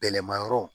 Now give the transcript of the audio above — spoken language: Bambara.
Bɛlɛma yɔrɔ